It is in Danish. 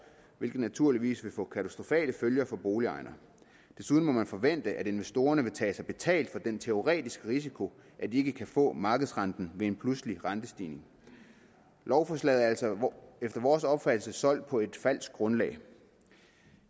hvilket naturligvis vil få katastrofale følger for boligejerne desuden må man forvente at investorerne vil tage sig betalt for den teoretiske risiko at de ikke kan få markedsrenten ved en pludselig rentestigning lovforslaget er altså efter vores opfattelse solgt på et falsk grundlag